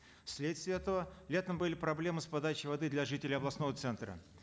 вследствие этого летом были проблемы с подачей воды для жителей областного центра